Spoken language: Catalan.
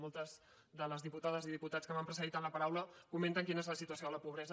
moltes de les diputades i diputats que m’han precedit en la paraula comenten quina és la situació de la pobresa